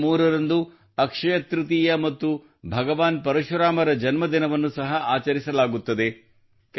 ಮೇ 3 ರಂದು ಅಕ್ಷಯ ತೃತೀಯ ಮತ್ತು ಭಗವಾನ್ ಪರಶುರಾಮರ ಜನ್ಮದಿನವನ್ನು ಸಹ ಆಚರಿಸಲಾಗುತ್ತದೆ